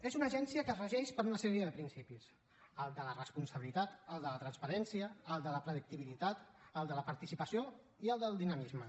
és una agència que es regeix per una sèrie de principis el de la responsabilitat el de la transparència el de la predictibilitat el de la participació i el del dinamisme